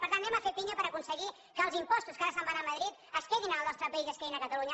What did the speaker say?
per tant anem a fer pinya per aconseguir que els impostos que ara se’n van a madrid es quedin en el nostre país i es quedin a catalunya